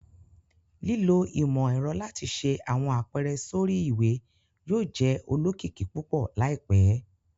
Lilo imọ-ẹrọ lati ṣe awọn apẹrẹ sori iwe yóò jẹ olokiki pupọ laipẹ